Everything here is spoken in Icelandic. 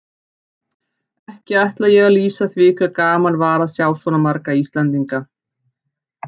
Ekki ætla ég að lýsa því hve gaman var að sjá svo marga Íslendinga.